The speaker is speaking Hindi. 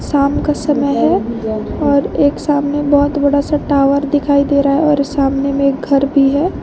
शाम का समय है और एक सामने बहुत बड़ा सा टावर दिखाई दे रहा है और सामने में एक घर भी है।